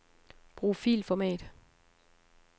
Brug filformat.